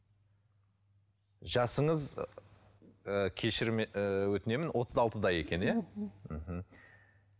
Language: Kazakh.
жасыңыз ы кешірім ы өтінемін отыз алтыда екен иә мхм